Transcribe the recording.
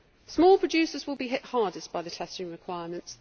Small producers will be hit hardest by the testing requirements.